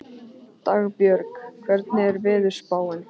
Dagbjörg, hvernig er veðurspáin?